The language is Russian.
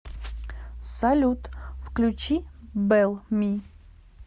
салют включи бел ми